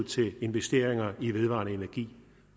til investeringer i vedvarende energi